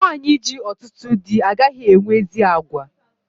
Nwanyi ji ọtụtụ dị agaghị enwe ezi àgwà